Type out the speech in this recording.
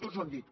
tots ho han dit